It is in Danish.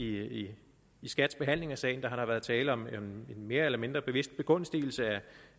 i skats behandling af sagen har været tale om en mere eller mindre bevidst begunstigelse af